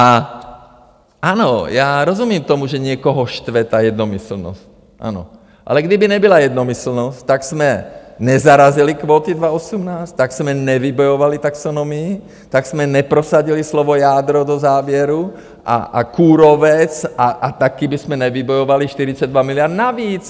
A ano, já rozumím tomu, že někoho štve ta jednomyslnost, ano, ale kdyby nebyla jednomyslnost, tak jsme nezarazili kvóty 2018, tak jsme nevybojovali taxonomii, tak jsme neprosadili slovo jádro do závěru a kůrovec a taky bychom nevybojovali 42 miliard navíc!